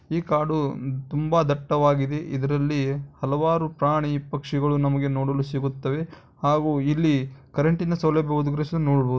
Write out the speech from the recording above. ಈ ಕಾಡು ತುಂಬಾ ದಟ್ಟವಾಗಿದೆ ಇದರಲ್ಲಿ ಹಲವಾರು ಪ್ರಾಣಿ ಪಕ್ಷಿಗಳು ನಮಗೆ ನೋಡಲು ಸಿಗುತ್ತವೆ ಹಾಗೂ ಇಲ್ಲಿ ಕರೆಂಟ್ನ ಸೌಲಭ್ಯ ಒದಗಿಸಲು ನೋಡಬಹುದು.